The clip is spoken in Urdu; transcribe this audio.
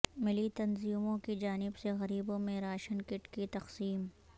ملی تنظیموں کی جانب سے غریبوں میں راشن کٹ کی تقسیم